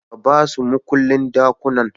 Ka basu mukullin ɗakunan